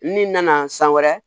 N'i nana san wɛrɛ